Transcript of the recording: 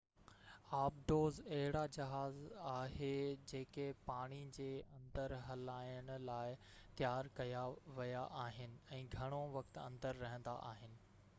آبدوز اهڙا جهاز آهي جيڪي پاڻي جي اندر هلائڻ لاءِ تيار ڪيا ويا آهن ۽ گهڻو وقت اندر رهندا آهن